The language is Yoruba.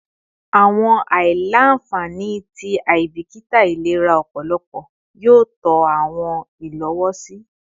Awọn aila-nfani ti aibikita ilera ọpọlọ yoo tọ awọn ilowosi